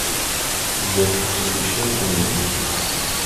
сбер посвящаю танир